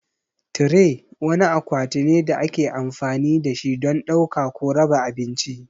Tire wani akwati ne da ake amfani da shi don ɗauka ko raba abinci.